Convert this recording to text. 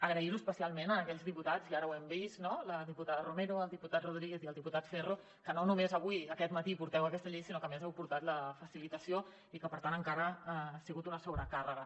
agrair ho especialment a aquells diputats i ara ho hem vist no la diputada romero el diputat rodríguez i el diputat ferro que no només avui aquest matí porteu aquesta llei sinó que a més heu portat la facilitació i que per tant encara ha sigut una sobrecàrrega